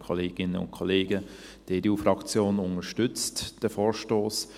Die EDU-Fraktion unterstützt diesen Vorstoss.